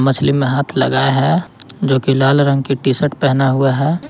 मछली में हाथ लगाया है जो की लाल रंग की टी शर्ट पहना हुआ है।